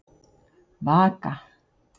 Vaka